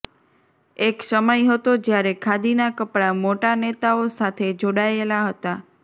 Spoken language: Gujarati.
એક સમય હતો જ્યારે ખાદીના કપડાં મોટા નેતાઓ સાથે જોડાયેલા હતા